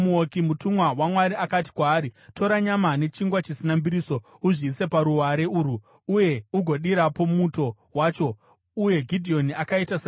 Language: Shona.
Mutumwa waMwari akati kwaari, “Tora nyama nechingwa chisina mbiriso, uzviise paruware urwu, uye ugodirapo muto wacho.” Uye Gidheoni akaita saizvozvo.